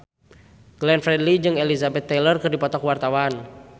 Glenn Fredly jeung Elizabeth Taylor keur dipoto ku wartawan